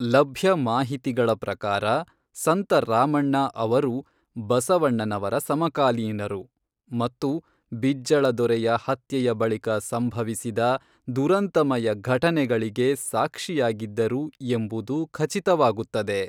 ಲಭ್ಯ ಮಾಹಿತಿಗಳ ಪ್ರಕಾರ ಸಂತ ರಾಮಣ್ಣ ಅವರು ಬಸವಣ್ಣನವರ ಸಮಕಾಲೀನರು, ಮತ್ತು ಬಿಜ್ಜಳ ದೊರೆಯ ಹತ್ಯೆಯ ಬಳಿಕ ಸಂಭವಿಸಿದ ದುರಂತಮಯ ಘಟನೆಗಳಿಗೆ ಸಾಕ್ಷಿಯಾಗಿದ್ದರು ಎಂಬುದು ಖಚಿತವಾಗುತ್ತದೆ